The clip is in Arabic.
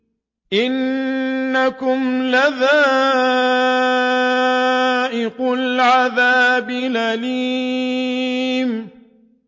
إِنَّكُمْ لَذَائِقُو الْعَذَابِ الْأَلِيمِ